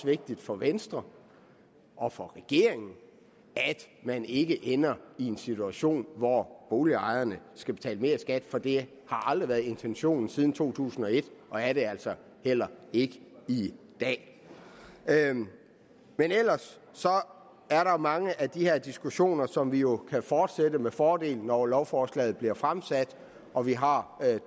vigtigt for venstre og for regeringen at man ikke ender i en situation hvor boligejerne skal betale mere i skat for det har aldrig været intentionen siden to tusind og et og er det altså heller ikke i dag men ellers er der mange af de her diskussioner som vi jo kan fortsætte med fordel når lovforslaget bliver fremsat og vi har